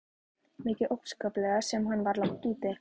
Mikið óskaplega sem hann var langt úti.